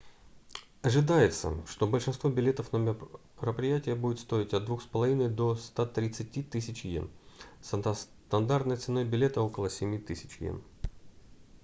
ожидается что большинство билетов на мероприятия будет стоить от 2 500 до 130 000 иен со стандартной ценой билета около 7 000 иен